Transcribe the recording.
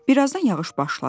Birazdan yağış başladı.